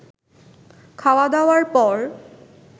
খাওয়া-ধাওয়ার পর